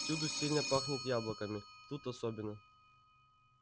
всюду сильно пахнет яблоками тут особенно